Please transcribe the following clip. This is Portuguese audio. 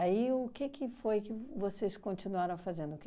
o que que foi que vocês continuaram fazendo?